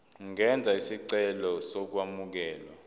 ungenza isicelo sokwamukelwa